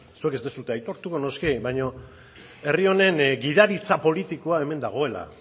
zuek ez duzue aitortu noski baina herri honen gidaritza politikoa hemen dagoela